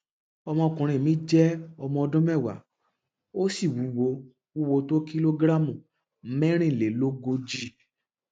ọmọkùnrin mi jẹ ọmọ ọdún mẹwàá ó sì wúwo wúwo tó kìlógíráàmù mẹrinlèlógójì